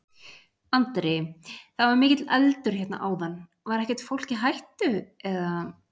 Andri: Það var mikill eldur hérna áðan, var ekkert fólk í hættu, eða?